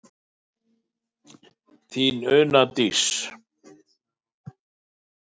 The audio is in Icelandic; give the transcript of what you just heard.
Þín Una Dís.